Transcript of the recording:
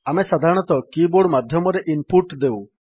ଆମେ ସାଧାରଣତଃ keyboard ମାଧ୍ୟମରେ ଇନପୁଟ୍ ଦେଉ